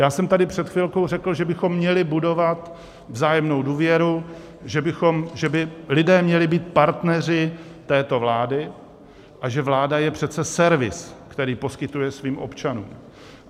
Já jsem tady před chvilkou řekl, že bychom měli budovat vzájemnou důvěru, že by lidé měli být partneři této vlády a že vláda je přece servis, který poskytuje svým občanům.